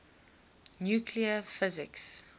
nuclear physics